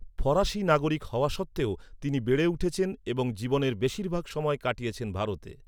ফরাসী নাগরিক হওয়া সত্ত্বেও তিনি বেড়ে উঠেছেন এবং জীবনের বেশিরভাগ সময় কাটিয়েছেন ভারতে।